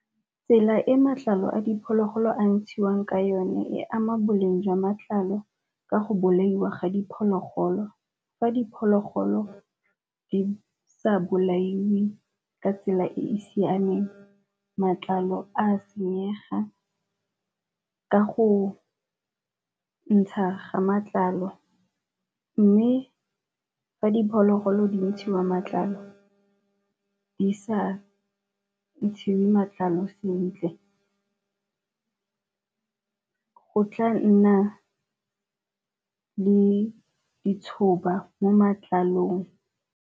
Tsela e matlalo a diphologolo a ntshiwang ke yone e ama boleng jwa matlalo ka go bolaiwa ga diphologolo, fa diphologolo di sa bolailwe ka tsela e e siameng matlalo a senyega ka go ntsha ga matlalo. Mme fa diphologolo di ntshiwa matlalo di sa ntshiwe matlalo sentle go tla nna le mo matlalong.